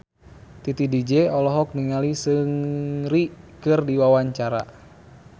Titi DJ olohok ningali Seungri keur diwawancara